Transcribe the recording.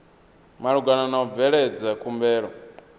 malugana na u bveledza khumbelo